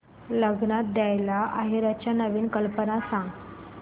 लग्नात द्यायला आहेराच्या नवीन कल्पना सांग